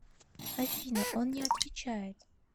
афина он не отвечает